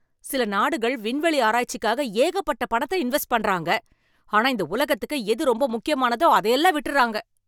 சில நாடுகள் விண்வெளி ஆராய்ச்சிக்காக ஏகப்பட்ட பணத்தை இன்வெஸ்ட் பண்றாங்க. ஆனா இந்த உலகத்துக்கு எது ரொம்ப முக்கியமானதோ அதையெல்லாம் விட்டுறாங்க.